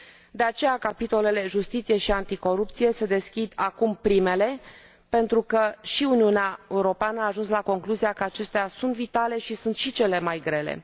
De aceea capitolele justiție și anticorupție se deschid acum, primele, pentru că și Uniunea Europeană a ajuns la concluzia că acestea sunt vitale și sunt și cele mai grele.